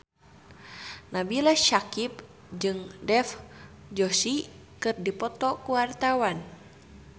Nabila Syakieb jeung Dev Joshi keur dipoto ku wartawan